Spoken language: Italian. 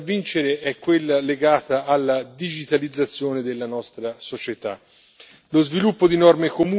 Una delle principali sfide da vincere è quella legata alla digitalizzazione della nostra società.